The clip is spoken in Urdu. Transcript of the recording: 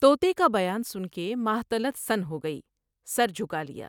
توتے کا بیان سن کے ماہ طلعت سن ہوگئی ، سر جھکا لیا ۔